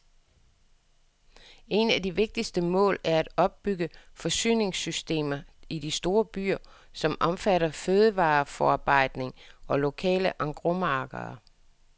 Et af de vigtigste mål er at opbygge forsyningssystemer i de store byer, som omfatter fødevareforarbejdning og lokale engrosmarkeder.